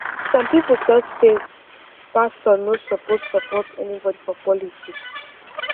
some people talk say pastor no suppose support anybody for politics